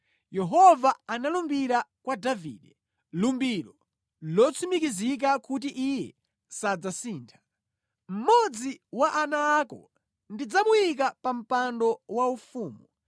Yehova analumbira kwa Davide, lumbiro lotsimikizika kuti Iye sadzasintha: “Mmodzi wa ana ako ndidzamuyika pa mpando waufumu;